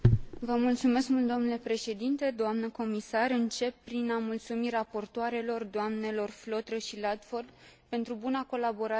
Încep prin a mulțumi raportoarelor, doamnelor Flautre și Ludford, pentru buna colaborare pe care am avut o pe parcursul negocierilor.